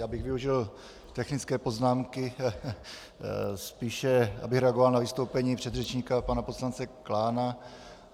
Já bych využil technické poznámky, spíš abych reagoval na vystoupení předřečníka pana poslance Klána.